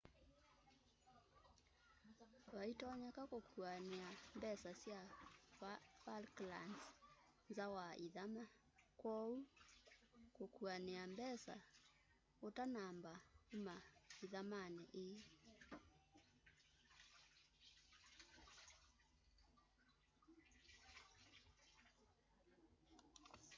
vaĩtonyeka kukuania mbesa sya falklands nza wa ithama kwoou kuania mbesa utanamba uma ĩthamanĩ ĩi